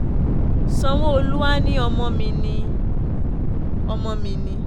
sanwó-olu àá ní ọmọ mi ni ọmọ mi ni